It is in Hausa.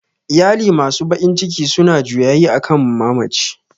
Iyali masu bakin ciki suna juyayi akan mamaci